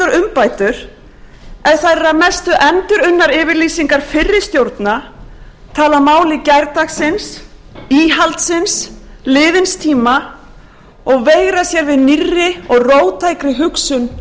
umbætur ef þær eru að mestu endurunnar yfirlýsingar fyrri stjórna tala máli gærdagsins íhaldsins liðins tíma og veigra sér við nýrri og róttækri hugsun